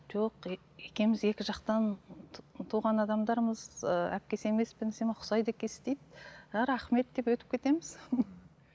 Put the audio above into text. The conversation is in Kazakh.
жоқ екеуміз екі жақтан туған адамдармыз ыыы әпкесі емеспін десем ұқсайды екенсіз дейді а рахмет деп өтіп кетеміз